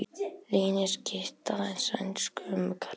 Leyniskytta í sænskum garði